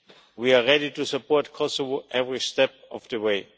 We are ready to support Kosovo every step of the way.